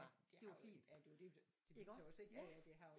Var det var fint iggå